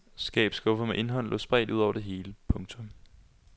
Skabsskuffer med indhold lå spredt ud over det hele. punktum